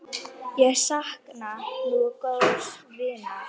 Ég sakna nú góðs vinar.